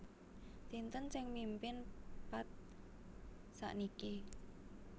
Sinten sing mimpin Path sakniki